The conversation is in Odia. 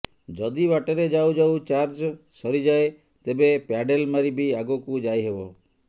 ଯଦି ବାଟରେ ଯାଉ ଯାଉ ଚାର୍ଜ ସରିଯାଏ ତେବେ ପ୍ୟାଡେଲ ମାରି ବି ଆଗକୁ ଯାଇହେବ